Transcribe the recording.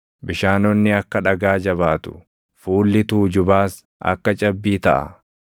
Bishaanonni akka dhagaa jabaatu, fuulli tuujubaas akka cabbii taʼa.